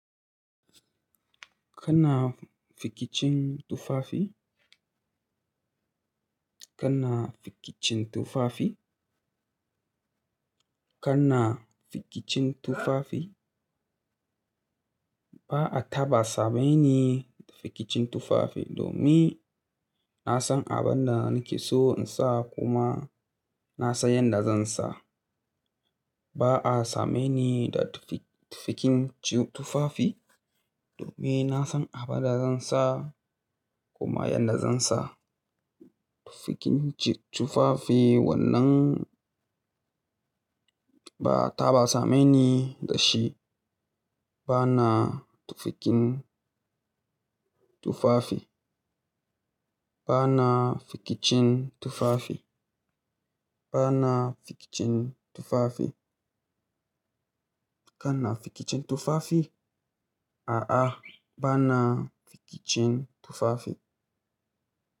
Kana fikicin tufafi? Kana fikicin tufafi? Kana fikicin tufafi? Ba a ta ba same ni fikicin tufafi domin na san abin da nake so in sa kuma na san yadda zan sa. Ba a same ni da tufikin tufafi, domin na san abin da zan sa kuma yadda zan sa. Tufikin tufafi wannan ba ta ba same ni da shi. Ba na tufikin tufafi. Ba na fikicin tufafi. Ba na fikicin tufafi. Kana fikicin tufafi? A'a, ba na fikicin tufafi.